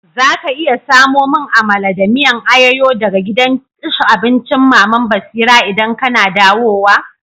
Za ka iya samo mun Amala da miyan ayoyo daga gidan abincin Mama'n Basira idan kana dawowa?